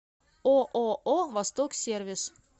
ооо восток сервис